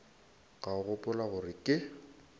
ka o gopola gore ke